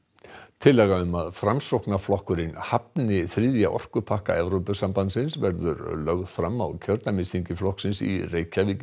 tillaga um að Framsóknarflokkurinn hafni þriðja orkupakka Evrópusambandsins verður lögð fram á kjördæmisþingi flokksins í Reykjavík í